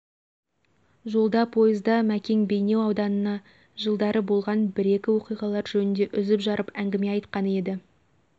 жолда пойызда мекең бейнеу ауданында жылдары болған бір екі оқиғалар жөнінде үзіп жарып әңгіме айтқан еді